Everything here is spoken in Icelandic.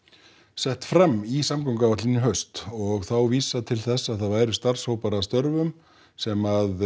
sett fram í samgönguáætlun í haust og þá var vísað til þess að það yrðu starfshópar að störfum sem